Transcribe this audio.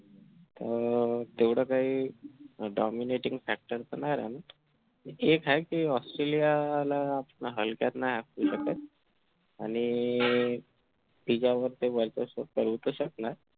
तर तेवढं काही dominating factor पण नाही राहिला एक आहे कि ऑस्ट्रेलियाला हल्ल्यात नाय हाकू शकत आणि तिज्यावर ते